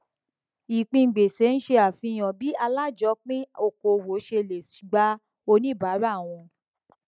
ìpín gbèsè ṣe àfihàn bí alájọpin okòwò ṣe lè gbà oníbàárà wọn